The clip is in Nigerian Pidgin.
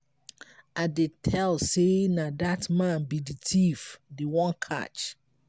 i dey tell say na dat man be the thief dey wan catch.